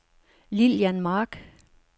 Lilian Mark